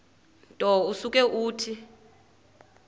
nto usuke uthi